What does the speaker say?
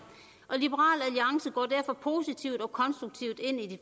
og positivt og konstruktivt ind i de